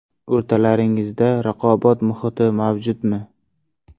O‘rtalaringizda raqobat muhiti mavjudmi?